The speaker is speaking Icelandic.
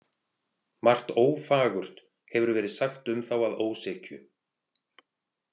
Margt ófagurt hefur verið sagt um þá að ósekju.